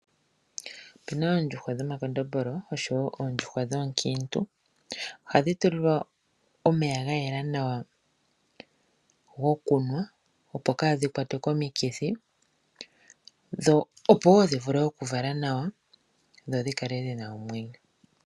Opena ondjuhwa dho makondombolo oshowo ondjuhwa dhookiintu, ohadhi tulilwa omeya ngayela nawa gokunwa opo kaa dhikwatwe komikithi dho opo wo dhivulu okuvala nawa dho odhikale wo dhina omwenyo.